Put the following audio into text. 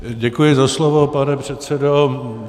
Děkuji za slovo, pane předsedo.